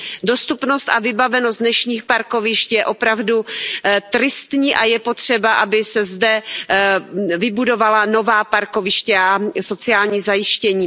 Dostupnost a vybavenost dnešních parkovišť je opravdu tristní a je potřeba, aby se zde vybudovala nová parkoviště a sociální zajištění.